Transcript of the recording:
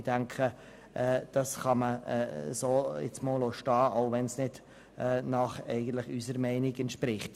Ich denke, dass kann man jetzt so einmal stehen lassen, auch wenn es eigentlich nicht unserer Meinung entspricht.